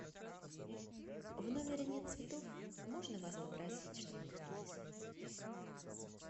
в номере нет цветов можно вас попросить чтобы их принесли